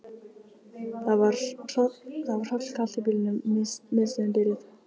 Það var hrollkalt í bílnum, miðstöðin biluð.